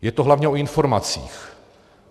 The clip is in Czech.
Je to hlavně o informacích.